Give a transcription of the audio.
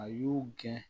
A y'u gɛn